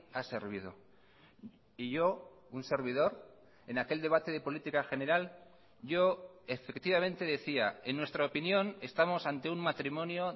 ha servido y yo un servidor en aquel debate de política general yo efectivamente decía en nuestra opinión estamos ante un matrimonio